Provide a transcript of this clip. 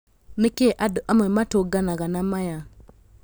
Nĩ kĩ andũ amwe matũnganaga na maya?